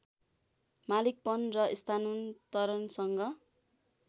मालिकपन र स्थानान्तरणसँग